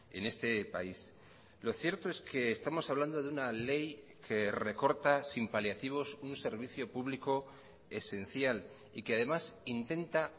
en este país lo cierto es que estamos hablando de una ley que recorta sin paliativos un servicio público esencial y que además intenta